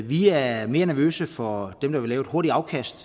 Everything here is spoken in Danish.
vi er mere nervøse for dem der vil lave et hurtigt afkast